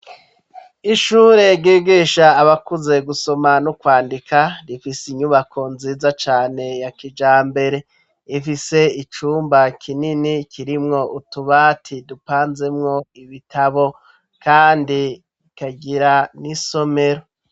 Ishure, ryigisha abakuze, gusoma n'ukwandika, rifise inyubako nziza cane, ya kijambere; ifise icumba kinini, kirimwo utubati, dupanzemwo ibitabo; kandi ikagira, n'isomero.